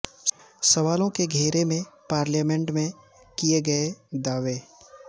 سوالوں کے گھیرے میں پارلیامنٹ میں کیے گئے دعوے